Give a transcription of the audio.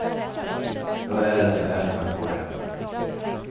Jag är den jag är tack vare henne.